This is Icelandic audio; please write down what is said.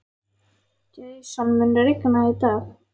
Jason, mun rigna í dag?